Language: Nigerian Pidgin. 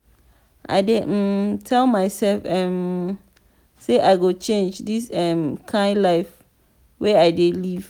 i dey um tell mysef um sey i go change dis um kain life wey i dey live.